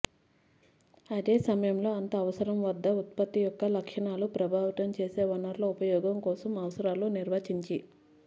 అదే సమయంలో అంత అవసరం వద్ద ఉత్పత్తి యొక్క లక్షణాలు ప్రభావితం చేసే వనరుల ఉపయోగం కోసం అవసరాలు నిర్వచించి